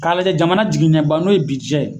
K'a lajɛ jamana jigiɲɛba n'o ye